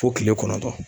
Fo kile kɔnɔntɔn